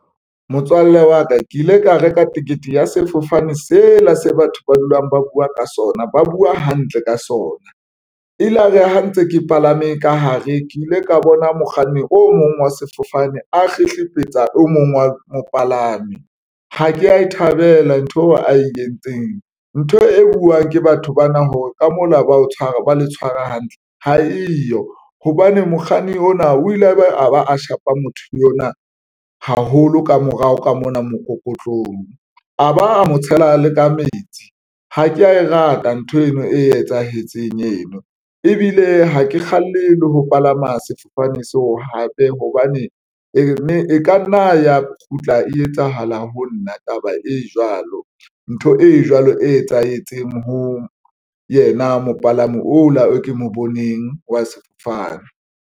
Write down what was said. Motswalle wa ka ke ile ka reka ticket ya sefofane sela se batho ba dulang ba buwa ka sona, ba buwa hantle ka sona ilare ha ntse ke palame ka hare, ke ile ka bona mokganni o mong wa sefofane a kgetlebetsa o mong wa mopalami. Ha ke ya e thabela ntho ae entseng ntho e buwang ke batho bana hore ka mona ba o tshwara ba tshwara hantle ha eyo hobane mokganni ona o ile a ba a shapa motho yona haholo ka morao ka mona mokokotlong a ba a mo tshela le ka metsi. Ha ke ya e rata ntho eno e etsahetseng eno, ebile ha ke kgalle le ho palama sefofane seo hape hobane e ka nna ya kgutla e etsahala ho nna taba e jwalo ntho e jwalo e etsahetseng ho yena mopalami o la e ke mo boneng wa sefofane.